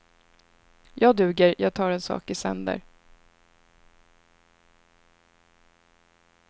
Jag duger, jag tar en sak i sänder.